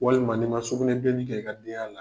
Walima n'i ma sugunɛbilenni kɛ i ka denya la.